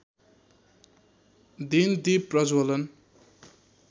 दिन दीप प्रज्ज्वलन